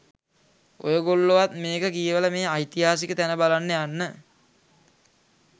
ඔයගොල්ලොවත් මේක කියවල මේ ඓතිහාසික තැන බලන්න යන්න.